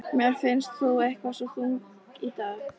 Mér finnst þú eitthvað svo þung í dag.